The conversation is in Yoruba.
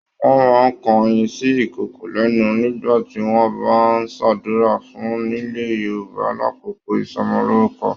Wọn máa n kàn oyin sí ìkokò lẹnu nígbà tí wọn bá n s'adura fún nilẹ̀ Yorùbá l'akoko ìsọmọlorúkọ.